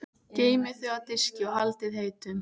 Geymið þau á diski og haldið heitum.